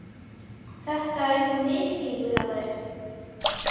Þetta er einhver misskilningur hjá þér!